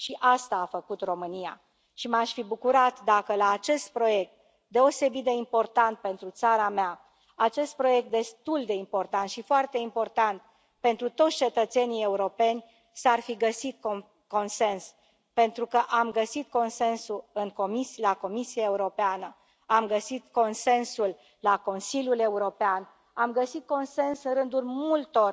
Asta a făcut România și m aș fi bucurat dacă la acest proiect deosebit de important pentru țara mea, acest proiect destul de important și foarte important pentru toți cetățenii europeni, s ar fi găsit consens, pentru că am găsit consensul la Comisia Europeană, am găsit consensul la Consiliul European, am găsit consens în rândul multor